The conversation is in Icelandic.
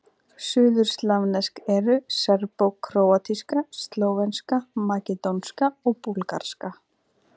Suðurslavnesk eru: serbókróatíska, slóvenska, makedónska og búlgarska.